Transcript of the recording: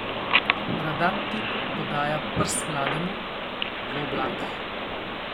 Bradat tip podaja prst mlademu, v oblakih.